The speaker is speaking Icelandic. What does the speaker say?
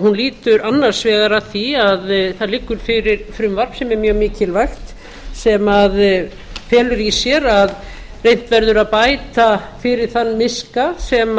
hún lýtur annars vegar að því að það liggur fyrir frumvarp sem er mjög mikilvægt sem felur í sér að reynt verður að bæta fyrir þann miska sem